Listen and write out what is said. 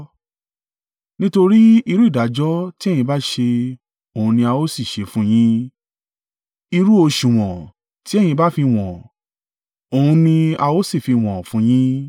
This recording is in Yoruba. Nítorí irú ìdájọ́ tí ẹ̀yin bá ṣe, òun ni a ó sì ṣe fún yín; irú òsùwọ̀n tí ẹ̀yin bá fi wọ́n, òun ni a ó sì fi wọ́n fún yín.